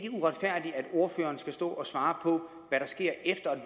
ordføreren skal stå og svare på hvad der sker efter